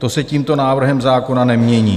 To se tímto návrhem zákona nemění.